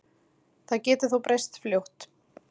Það geti þó breyst fljótt